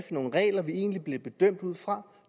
nogle regler vi egentlig bliver bedømt ud fra